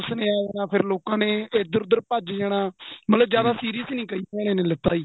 ਫੇਰ ਲੋਕਾ ਨੇ ਏਧਰ ਉਧਰ ਭੱਜ ਜਾਣਾ ਮਤਲਬ ਜਿਆਦਾ serious ਨਹੀਂ ਕਈ ਜਣਾ ਨੇ ਲਿੱਤਾ ਜੀ